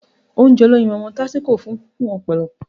Ounjẹ olóyinmọmọ tásíko kún fun ọ̀pọ̀lọpọ̀